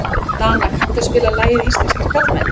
Dana, kanntu að spila lagið „Íslenskir karlmenn“?